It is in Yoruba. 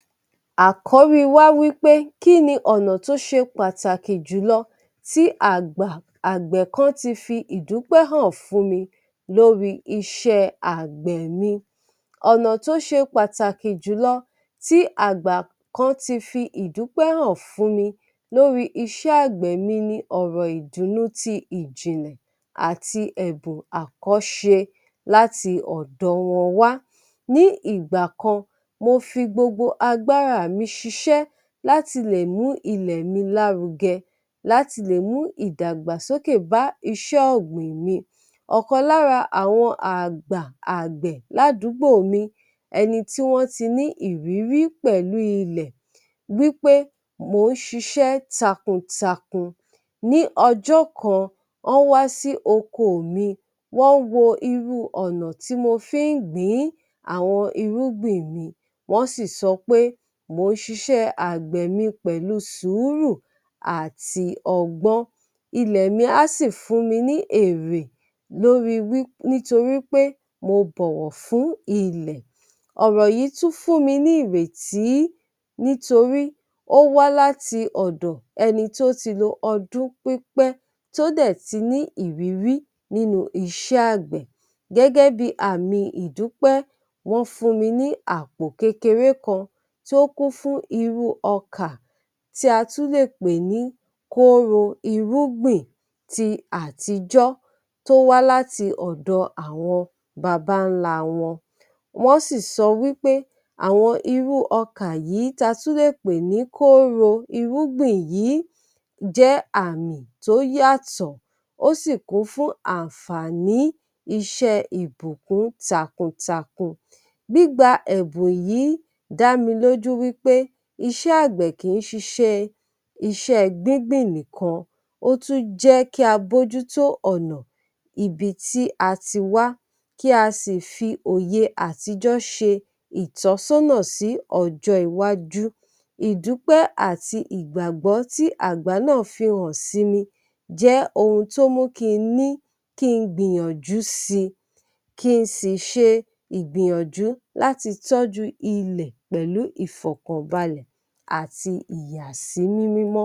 Àkóríi wá wí pé "kí ní ọ̀nà tó ṣe pàtàkì jùlọ, tí àgbà-àgbẹ̀ kán ti fi ìdúpẹ́ hàn fún mi lóríi iṣẹ́ àgbẹ̀ ni?" ọ̀nà tó ṣe pàtàkì jùlọ tí àgbà kan ti fi ìdúpẹ́ hàn fún mi lórí iṣẹ́ àgbẹ̀ nini ọ̀rọ̀ ìdùnnu ti ìjìnlẹ̀ àti ẹ̀bùn àkọ́ṣe láti ọ̀dọ wọn wá. Ní ìgbà kan, mo fi gbogbo agbáraà mi ṣiṣẹ́láti lè mú ilẹ̀ mi lárugẹ, láti lè mú ìdàgbàsókè bá iṣẹ́ ọ̀gbìn ni. Ọ̀kan lára àwọn àgbà-àgbẹ̀ ládùúgbò mi, ẹni tí wọ́n ti ní ìrírí pẹ̀lú ilẹ̀ wí pé mò ń ṣiṣẹ́ takun-takun. Ní ọjọ́ kan, ọ́n wá sí okoò mi, wọ́n wo irú ọ̀nà tí mo fí ń gbìn ín àwọn irúgbìn mi, wọ́n sì sọ pé mò ń ṣiṣẹ́ àgbẹ̀ mi pẹ̀lu sùúrù àti ọgbọ́n, ilẹ̀ mi á sì fún mi ní èrè lórí nítorí pé mo bọ̀wọ̀ fún ilẹ̀. Ọ̀rọ̀ yìí tún fún mi ni ìrètí nítorí ó wá láti ọ̀dọ̀ ẹni tí ó ti lo ọdún pípẹ́ tó dẹ̀ tí ní ìrírí nínú iṣẹ́ àgbẹ̀. Gẹ́gẹ́ bí i àmì ìdúpẹ́, wọ́n fún mi ní àpò kékeré kan tó kún fún irú ọkà tí a tún lè pè ní kóóro irúgbìn ti àtijọ́ tó wá láti ọdọ̀ àwọn babańlá wọn. Wọ́n sì sọ wí pé àwọn irú ọkà yìí tí a tún lè pè ní kóóro irúgbìn yìí jẹ́ àmì tó yàtọ̀, ó sì kún fún àǹfààní iṣẹ́ẹ ìbùkún takuntakun. Gbígba ẹ̀bùn yìí dá mi lójú wí pé iṣẹ́ àgbẹ̀ kì í ṣiṣẹ́ẹ iṣẹ́ẹ gbígbìn nìkan, ó tún jẹ́ kí a bójú tó ọ̀nà ibi tí a ti wá, kí a sì fi òye àtijọ́ ṣe ìtọ́sọ́nà sí ọjọ́ iwájú. Ìdúpé àti ìgbàgbọ́ tí àgbà náà fi hàn síni jẹ́ ohun tó mú kí n ní kí n gbìyànjú si, kí n sì ṣe ìgbìyànjú láti tọ́jú ilẹ̀ pẹ̀lú ìfọ̀kànbàlẹ̀ àti ìyàsímímọ́.